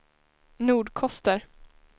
Nordkoster